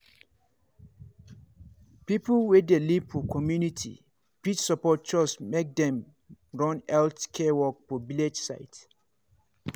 people wey dey live for community fit support chws make dem run health care work for village side.